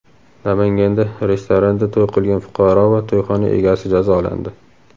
Namanganda restoranda to‘y qilgan fuqaro va to‘yxona egasi jazolandi.